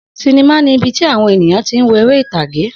Sinimá ni ibi tí àwọn ènìyàn tí ń wo eré ìtàgé